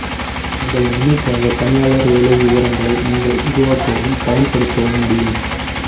உங்கள் நன்மைக்காக பணியாளர் வேலை விவரங்களை நீங்கள் உருவாக்கவும் பயன்படுத்தவும் முடியும்